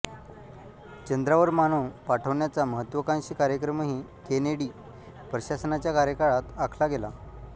चंद्रावर मानव पाठवण्याचा महत्त्वाकांक्षी कार्यक्रमही केनेडी प्रशासनाच्या कार्यकाळात आखला गेला